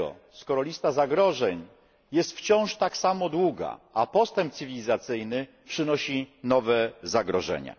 z tego, skoro lista zagrożeń jest wciąż tak samo długa, a postęp cywilizacyjny przynosi nowe zagrożenia?